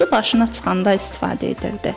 Suyu başına çıxanda istifadə edildi.